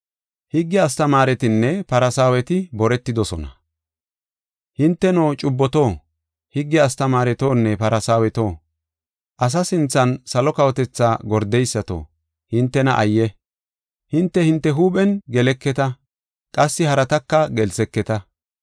“Hinteno, cubboto, higge astamaaretonne Farsaaweto, asa sinthan salo kawotethaa gordeysato hintena ayye! Hinte, hinte huuphen geleketa qassi harataka gelseketa.